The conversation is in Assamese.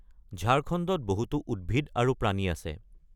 ঝাৰখণ্ডত বহুতো উদ্ভিদ আৰু প্ৰাণী আছে।